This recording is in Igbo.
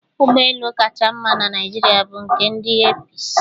Ụgbọ elu kacha mma na Naijiria bụ nke ndị Eepis.